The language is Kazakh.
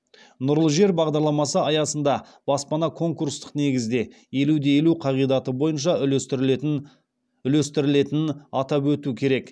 нұрлы жер бағдарламасы аясында баспана конкурстық негізде елу де елу қағидаты бойынша үлестірілетінін атап өту керек